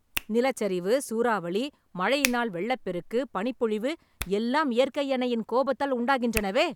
நிலச்சரிவு, சூறாவளி, மழையினால் வெள்ளப் பெருக்கு, பனிப்பொழிவு எல்லாம் இயற்கை அன்னையின் கோபத்தால் உண்டாகின்றனவே...